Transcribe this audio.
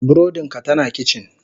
Burodin ka tana a kicin.